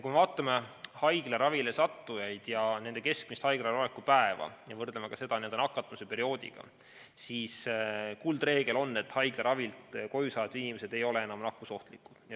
Kui me vaatame haiglaravile sattujaid ja nende keskmist haiglas oleku aega ja võrdleme seda nakatumisperioodiga, siis kuldreegel on, et haiglaravilt koju saavad inimesed ei ole enam nakkusohtlikud.